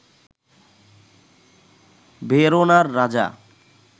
ভেরোনার রাজা